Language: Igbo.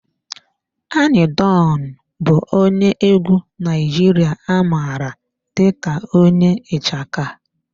Anyi Don bụ onye egwu Naijiria a mara dị ka onye ichaka.